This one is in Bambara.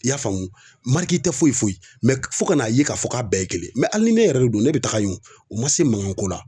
I y'a faamu tɛ foyi foyi. fɔ ka na ye ka fɔ k'a bɛɛ ye kelen hali ni ne yɛrɛ de don ne be taga yen wo, o ma se mankan ko la.